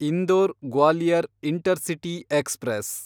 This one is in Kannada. Indore Gwalior intercity express